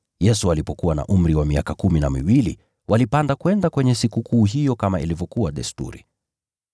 Yesu alipokuwa na umri wa miaka kumi na miwili, walipanda kwenda kwenye Sikukuu hiyo kama ilivyokuwa desturi.